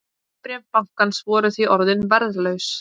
Hlutabréf bankans voru því orðin verðlaus